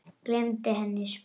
Gleymdi henni svo.